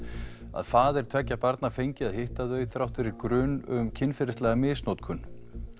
að faðir tveggja barna fengi að hitta þau þrátt fyrir grun um kynferðislega misnotkun